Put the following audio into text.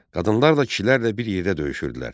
Qadınlar da kişilərlə bir yerdə döyüşürdülər.